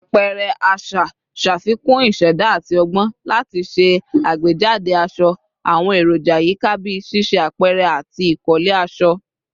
Apẹrẹ aṣa ṣafikun iṣẹda ati ọgbọn lati ṣe agbejade aṣọ, awọn eroja yika bii ṣiṣe apẹrẹ ati ikole aṣọ